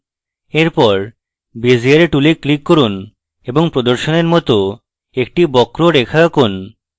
এরপর bezier tool click করুন এবং প্রদর্শনের মত একটি বক্র রেখা আঁকুন